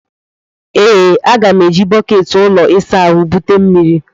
Ee, m ga-eji bọket ụlọ ịsa ahụ bute mmiri.